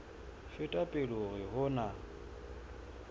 feta pele hore ho na